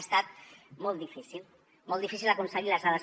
ha estat molt difícil molt difícil aconseguir les dades